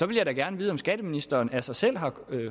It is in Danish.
vil jeg da gerne vide om skatteministeren af sig selv har